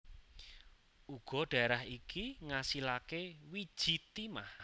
Uga dhaerah iki ngasilake wiji timah